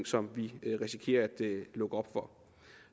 som vi risikerer at lukke op for